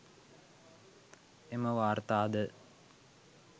එම වාර්තාද